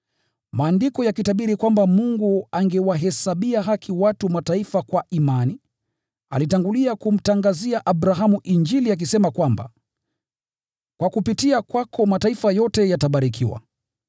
Maandiko yakitabiri kwamba Mungu angewahesabia haki watu wa Mataifa kwa imani, alitangulia kumtangazia Abrahamu Injili akisema kwamba, “Kwa kupitia kwako mataifa yote yatabarikiwa.”